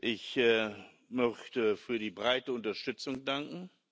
Ich möchte für die breite Unterstützung danken.